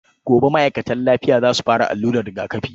Gobe ma'aikatan lafiya za su fara allurar rigakafi.